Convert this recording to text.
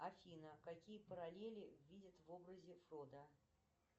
афина какие параллели видят в образе фродо